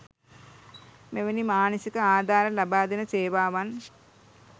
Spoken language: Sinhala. මෙවැනි මානසික ආධාර ලබාදෙන සේවාවන්